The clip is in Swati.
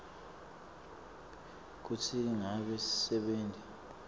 kutsi ngabe sisebenti